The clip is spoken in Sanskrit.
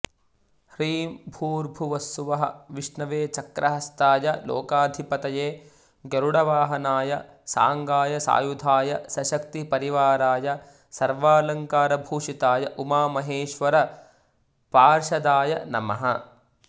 ह्रीं भूर्भुवस्सुवः विष्णवे चक्रहस्ताय लोकाधिपतये गरुडवाहनाय सांगाय सायुधाय सशक्ति परिवाराय सर्वालंकारभूषिताय उमामहेश्वर पार्षदाय नमः